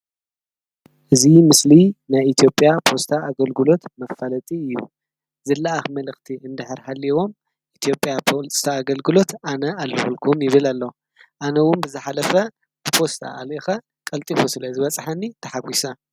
እዚ ምስሊ ናይ ኢትዮጵያ ፖስታ ኣገልግሎት መፋለጢ እዩ። ዝለኣክ መልእክቲ እንድሕር ሃሊዎም ኢትዮጵያ ፖስታ ኣገልግሎት ኣነ ኣለኩልኩም ይብል ኣሎ። ኣነ እውን ብዝሓለፈ ብፖስታ ኣልኢከ ቀልጢፉ ስለ ዝበፅሐኒ ተሓጓሰ።